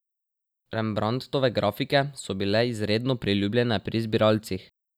Rembrandtove grafike so bile izredno priljubljene pri zbiralcih.